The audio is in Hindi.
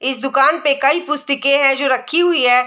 इस दुकान पे कई पुस्तिये है जो रखी हुई है।